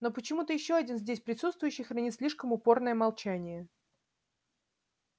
но почему-то ещё один здесь присутствующий хранит слишком упорное молчание